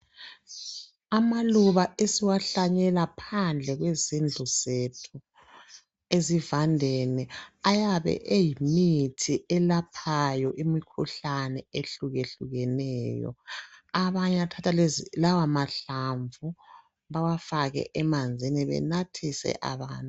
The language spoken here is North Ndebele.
Amaluba esiwahlanyela phandle kwezindlu zethu ezivandeni ayabe eyimithi elaphayo imikhuhlane ehlukehlukeneyo. Abanye bayathatha lawamahlamvu bawafake emanzini benathise abantu.